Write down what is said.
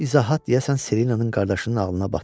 Bu izahat deyəsən Selinanın qardaşının ağlına batdı.